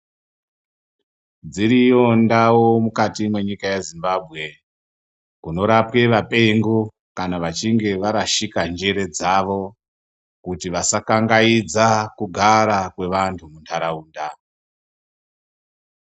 Dziriyo ndau mukati mwenyika yezimbabwe kunorapwe vapengo kana vachinge varashika njere dzavo, kuti vasakangaidza kugara kwevantu munharaunda.